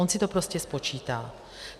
On si to prostě spočítá.